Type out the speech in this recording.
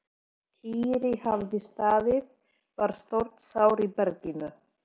Týri hafði staðið var stórt sár í berginu.